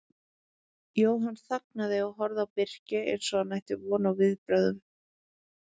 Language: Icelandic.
Jóhann þagnaði og horfði á Birki eins og hann ætti von á viðbrögðum.